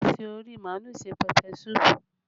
A fi ori màálù ṣe pẹpẹ súpù